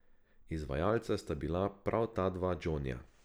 Izvajalca sta bila prav ta dva Džonija.